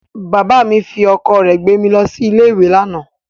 Bàbá mi fi ọkọ̀ rẹ̀ gbé mi lọ sí ilé-ìwé lánàá.